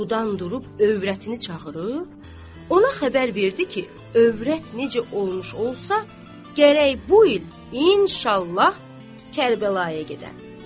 Yuxudan durub övrətini çağırıb, ona xəbər verdi ki, övrət necə olmuş olsa, gərək bu il, inşallah, Kərbəlaya gedəm.